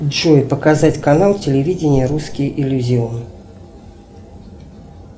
джой показать канал телевидения русский иллюзион